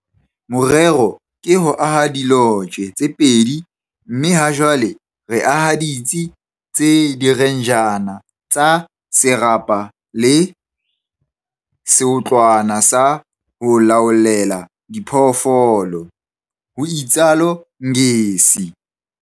Morero ke ho aha dilotje tse pedi mme hajwale re aha ditsi tsa direnjara tsa serapa le seotlwana sa ho laollela diphoofolo, ho itsalo Ngesi.